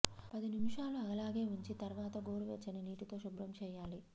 పది నిముషాలు అలాగే ఉంచి తర్వాత గోరువెచ్చని నీటితో శుభ్రం చేయాలి